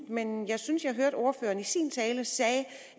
men jeg synes at jeg hørte ordføreren i sin tale sige